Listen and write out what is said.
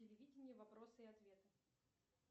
телевидение вопросы и ответы